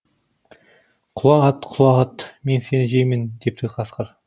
құла ат құла ат мен сені жеймін депті қасқыр